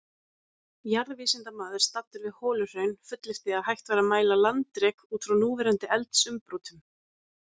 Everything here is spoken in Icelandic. Jarðvísindamaður staddur við Holuhraun fullyrti að hægt væri að mæla landrek út frá núverandi eldsumbrotum?